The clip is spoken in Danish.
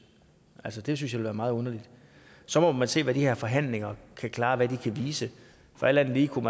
altså det synes jeg ville være meget underligt så må man se hvad de her forhandlinger kan klare hvad de kan vise for alt andet lige kunne